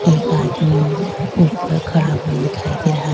ایک ادمی اوپر کھڑا ہوا دکھائی دے رہا ہے